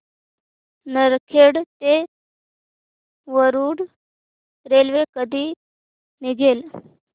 नरखेड ते वरुड रेल्वे कधी निघेल